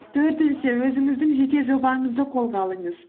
төртінші өзіңіздің жеке жобаңызды қолға алыңыз